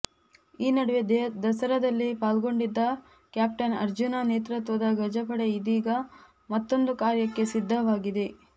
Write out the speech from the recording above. ಈ ನಡುವೆ ದಸರಾದಲ್ಲಿ ಪಾಲ್ಗೊಂಡಿದ್ದ ಕ್ಯಾಪ್ಟನ್ ಅರ್ಜುನ ನೇತೃತ್ವದ ಗಜಪಡೆ ಇದೀಗ ಮತ್ತೊಂದು ಕಾರ್ಯಕ್ಕೆ ಸಿದ್ಧವಾಗಿದೆ